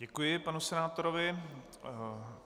Děkuji panu senátorovi.